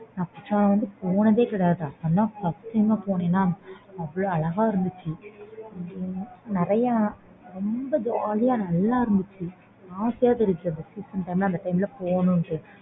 நான் குற்றாலம் வந்து போனதே கிடையாது first time போனனா அவ்ளோ அழகா இருந்துச்சு நிறைய ரொம்ப jolly யா நல்ல இருந்துச்சு ஆசையா இருந்துச்சு அந்த time ல போணும்ன்னு